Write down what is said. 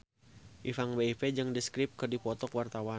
Ipank BIP jeung The Script keur dipoto ku wartawan